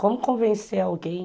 Como convencer alguém?